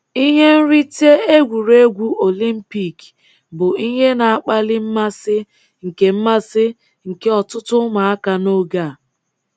Ihe nrite egwuregwu Olimpik bụ ihe na-akpali mmasị nke mmasị nke ọtụtụ ụmụaka n’oge a.